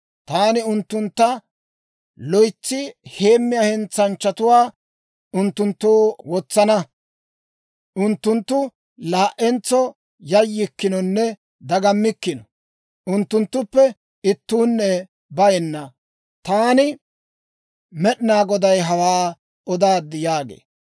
Taani unttuntta loytsi heemmiyaa hentsanchchatuwaa unttunttoo wotsana. Unttunttu laa"entso yayyikkinonne dagammikkino; unttunttuppe ittuunne bayenna. Taani Med'inaa Goday hawaa odaad» yaagee.